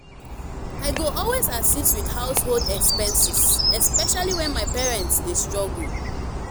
i go always assist with household expenses especially when my parents dey struggle.